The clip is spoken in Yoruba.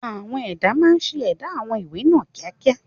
Àwọn ẹ̀dà máa ń ṣe ẹ̀dà àwọn ìwé náà ní kíákíá.